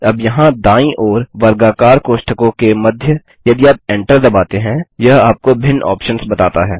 अब यहाँ दायीं ओर वर्गाकार कोष्ठकों के मध्ययदि आप एंटर दबाते हैं यह आपको भिन्न ऑप्शन्स बताता है